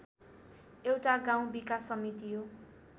एउटा गाउँ विकास समिति हो